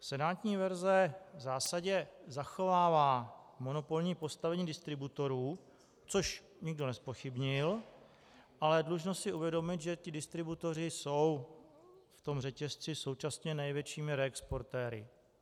Senátní verze v zásadě zachovává monopolní postavení distributorů, což nikdo nezpochybnil, ale dlužno si uvědomit, že ti distributoři jsou v tom řetězci současně největšími reexportéry.